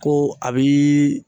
Ko a bi